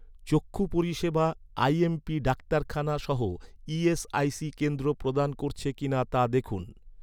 চক্ষু পরিষেবা আইএমপি ডাক্তারখানা সহ ই.এস.আই.সি কেন্দ্র প্রদান করছে কি না, তা দেখুন।